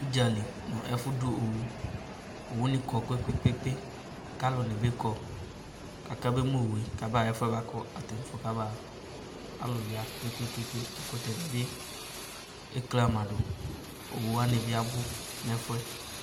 udzali no ɛfo do owu owu ni kɔ kpekpekpe ko alo ni bi kɔ ko aka be mu owue ko aba ɣa ɛfoɛ boa ko atani afo ko aba ɣa alo ya kpekpekpe ɛkotɛ ni bi eli kali ma do owu wani bi abo no ɛfoɛ